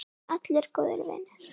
Allir góðir vinir.